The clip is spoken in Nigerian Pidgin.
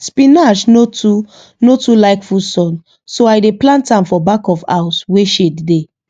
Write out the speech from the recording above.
spinach no too no too like full sun so i dey plant am for back of house wey shade dey